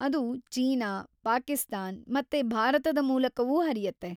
ಅದು ಚೀನಾ, ಪಾಕಿಸ್ತಾನ್‌ ಮತ್ತೆ ಭಾರತದ ಮೂಲಕವೂ ಹರಿಯುತ್ತೆ .